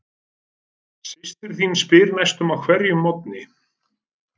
Systir þín spyr næstum á hverjum morgni